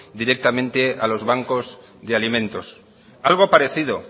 directamente a los bancos de alimentos algo parecido